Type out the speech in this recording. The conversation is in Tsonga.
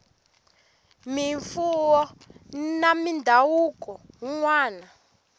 mimfuwo na mindhavuko yin wana